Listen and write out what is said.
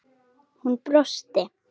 Hún brosti.